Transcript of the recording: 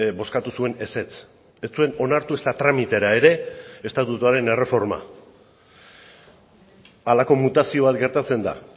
bozkatu zuen ezetz ez zuen onartu ezta tramitera ere estatutuaren erreforma halako mutazio bat gertatzen da